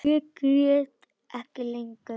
Ég græt ekki lengur.